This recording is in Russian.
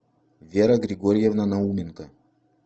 вера григорьевна науменко